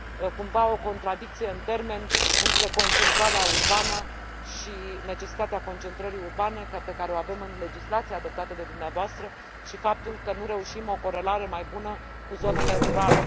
este cumva o contradicție în termeni între concentrarea urbană și necesitatea concentrării urbane pe care o avem în legislația adoptată de dumneavoastră și faptul că nu reușim o corelare mai bună cu zonele rurale.